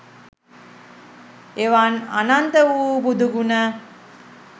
එවන් අනන්ත වූ බුදු ගුණ